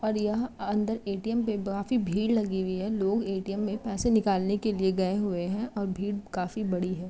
और यहाँ अंदर एटीएम पे काफी भीड़ लगी हुई है लोग एटीएम में पैसे निकालने के लिए गए हुए है और भीड़ काफी बड़ी है।